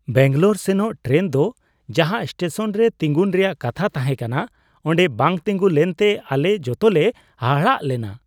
ᱵᱮᱹᱝᱜᱟᱞᱳᱨ ᱥᱮᱱᱚᱜ ᱴᱨᱮᱱ ᱫᱚ ᱡᱟᱦᱟᱸ ᱥᱴᱮᱥᱚᱱ ᱨᱮ ᱛᱤᱜᱩᱱ ᱨᱮᱭᱟᱜ ᱠᱟᱛᱷᱟ ᱛᱟᱦᱮᱸ ᱠᱟᱱᱟ ᱚᱸᱰᱮ ᱵᱟᱝ ᱛᱤᱸᱜᱩ ᱞᱮᱱᱛᱮ ᱟᱞᱮ ᱡᱚᱛᱚᱞᱮ ᱦᱟᱦᱟᱲᱟᱜ ᱞᱮᱱᱟ ᱾